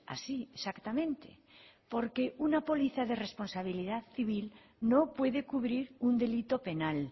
así exactamente porque una póliza de responsabilidad civil no puede cubrir un delito penal